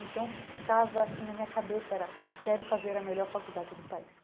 Então, o que ficava, assim, na minha cabeça era, quero fazer a melhor faculdade do país.